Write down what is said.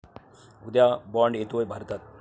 उद्या 'बाँड' येतोय भारतात